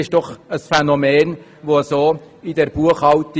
Dies ist doch ein neues Phänomen in dieser Buchhaltung.